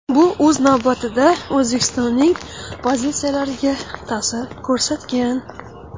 Bu o‘z navbatida O‘zbekistonning pozitsiyalariga ta’sir ko‘rsatgan.